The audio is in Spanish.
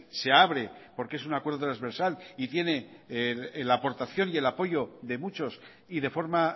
se abre porque es un acuerdo transversal y tiene la aportación y el apoyo de muchos y de forma